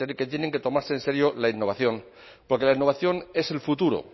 que tienen que tomarse en serio la innovación porque la innovación es el futuro